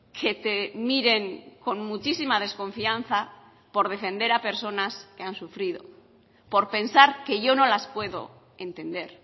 que te miren con muchísima desconfianza por defender a personas que han sufrido por pensar que yo no las puedo entender